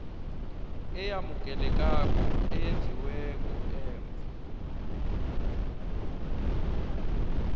eyamukelekako eyenziwe ngemva